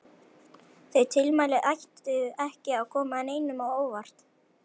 Þau tilmæli ættu ekki að koma neinum á óvart.